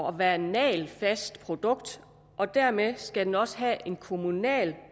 at være et nagelfast produkt og dermed skal den også have en kommunal